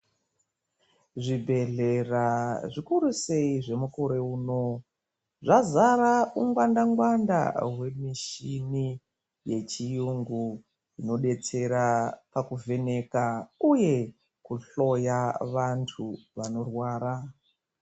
Zvibhehlera zvechizvino zvinoda zvazara ungwanda ngwanda hwemichini hunobatsira kuhloya vanthu zvitenda zvakasiyana siyana.